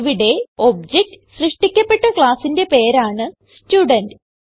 ഇവിടെ ഒബ്ജക്ട് സൃഷ്ടിക്കപ്പെട്ട classന്റെ പേരാണ് സ്റ്റുഡെന്റ്